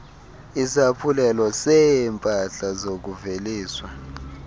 isaphulelo seeempahla zokuveliswa